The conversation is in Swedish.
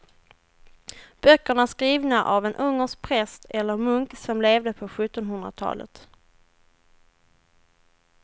Böckerna är skrivna av en ungersk präst eller munk som levde på sjuttonhundratalet.